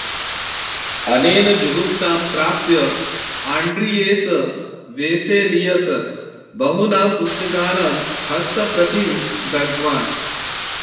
अनेन जुगुप्सां प्राप्य आण्ड्रियेस् वेसेलियस् बहूनां पुस्तकानां हस्तप्रतिं दग्धवान्